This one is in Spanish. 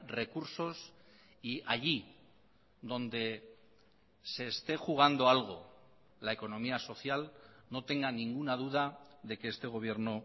recursos y allí donde se esté jugando algo la economía social no tenga ninguna duda de que este gobierno